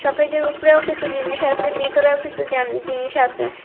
শোকেজের উপরেও কিসু জিনিস আসে ভিতরেও কিসু জা জিনিস আসে।